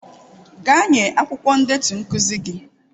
Gaa nye akwụkwọ ndetu nkuzi gị.